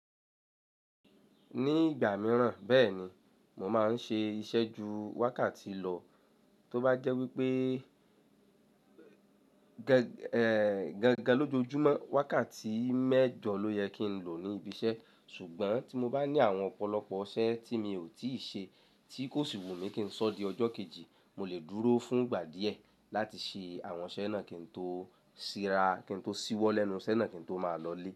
Ní ìgbà mìíràn bẹ́ẹ̀ni, mo máa ń ṣe iṣẹ́ ju wákàtí lọ, tó bá jẹ́ wípé, dandan lọ́jọjúmọ́ wákàtí mẹ́jọ ló yẹ kí n lọ ní ibi iṣẹ́, ṣùgbọ́n tí mo bá ní àwọn ọ̀pọ̀lọpọ̀ iṣẹ́ tí mi ò tíì ṣe tí kò sì wù mí kí ń sọ di ọjọ́ kejì, mo lè dúró fún ìgbà díẹ̀ láti ṣe àwọn iṣẹ́ náà kí n tó síra, kí n tó ṣíwọ́ lẹ́nu iṣẹ́ náà kí n tó máa lọlé.